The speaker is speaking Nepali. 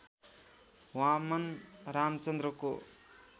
वामन रामचन्द्रको